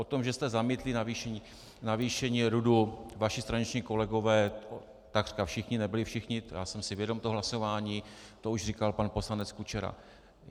O tom, že jste zamítli navýšení RUD, vaši straničtí kolegové, takřka všichni, nebyli všichni, já jsem si vědom toho hlasování, to už říkal pan poslanec Kučera.